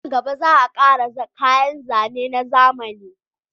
Nan gaba za a kara yin kayan zane na zamani